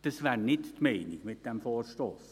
Dies wäre nicht die Meinung dieses Vorstosses.